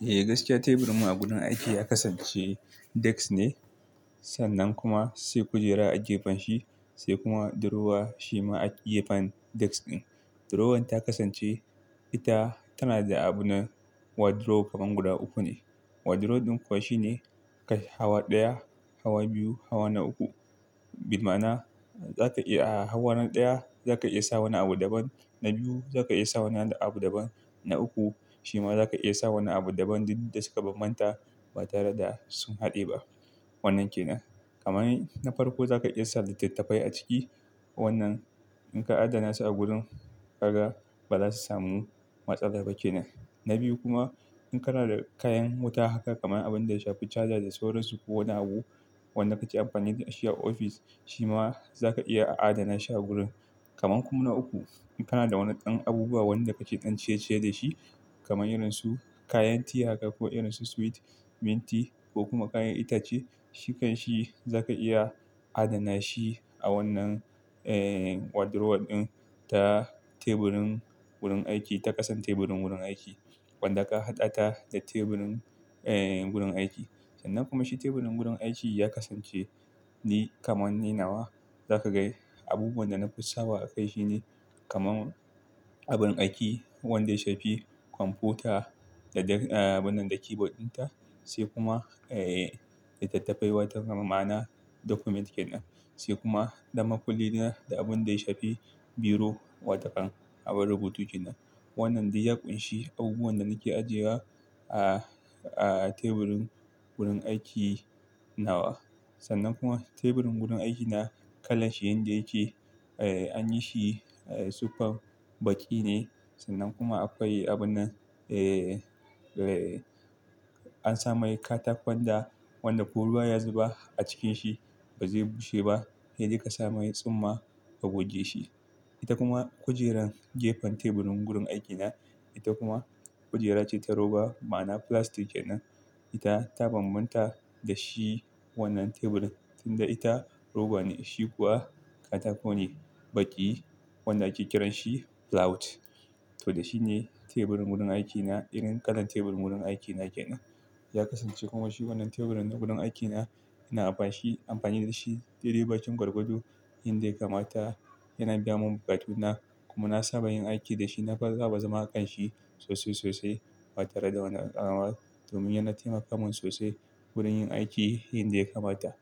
Eh, gaskiya teburin mu a wurin aiki ya kasance desk ne, sannan kuma sai kujera a gefen shi sai kuma drawer shi ma a gefen desk ɗin. Drawer ta kasance, ita tana da abun wardrobe kamar guda uku ne. Wardrobe ɗin kuwa shine kai hawa ɗaya, hawa biyu, hawa na uku. Bima'na za ka iya a hawaron ɗaya za ka iya sa wani abu daban, na biyu za ka iya sa wani abu daban, na uku shi ma za ka iya sa wani abu daban duk da suka bambanta ba tare da sun haɗe ba. Wannan ke nan. Kamani na farko za ka iya sa littattafai a ciki. Wannan in ka adana su a gurin, ka ga ba za su samu matsala ba ke nan. Na biyu kuma in kana da kayan wuta haka kamar abin da ya shafi charger da sauransu ko wani abu wanda ka ke amfani da shi a ofis, shi ma za ka iya adana shi a gurin. Kaman kuma na uku, in kana da wani ɗan abubuwa wanda ka ke ɗan ciyeciye da shi kamar irin su kayan tiya haka ko irin su sweet, minti ko kuma kayan itace, shi kan shi za ka iya adana shi a wannan, eh, wardrobe ɗin ta teburin wurin aiki, ta ƙasan teburin wurin aiki wanda ka haɗa ta da teburin, eh, wurin aiki. Sannan kuma shi teburin wurin aiki ya kasance ni kamar na nawa za ka ga yi. Abubuwan da na fi sa wa a kai shi ne kamar abin aiki wanda ya shafi kwamfuta da, da, eh, wannan da keyboard ɗin ta, sai kuma, eh, littattafai wata gama ma'ana document ke nan, sai kuma dama kulli da abin da ya shafi biro wa takan, abin rubutu ke nan. Wannan dai ya kunshi abubuwan da nake ajiyewa a, a teburin wurin aiki nawa. Sannan kuma teburin wurin aikina kalan shi yanda yake, eh, an yi shi, eh, super baƙi ne sannan kuma aka yi abunan, eh, eh, an sa mai katakon da wanda ko ruwa ya zuba a cikin shi ba zai bushe ba, sai dai kasa mai tsumma ka goge shi. Ita kuma kujeran gefen teburin wurin aikina, ita kuma kujera ce ta roba ma'ana filastic ke nan. Ita ta bambanta da shi wannan teburin, tunda ita roba ne shi kuwa katakon ne baƙi wanda ake kiran shi plywood. To dai shi ne teburin wurin aikina, irin kalan tebur wurin aikina ke nan. Ya kasance kuma shi wannan teburin na gurin aikina ina amfanshi, amfani da shi daidai bakin gargado yanda ya kamata. Yana biya mun bukatuna kuma na saba yin aiki da shi. Na fa za ba zama a kan shi sosai sosai ba tare da wani alamal. Domin yana taimaka mun sosai wurin yin aiki yanda ya kamata.